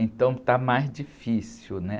Então está mais difícil, né?